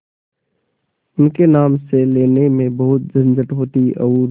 उनके नाम से लेने में बहुत झंझट होती और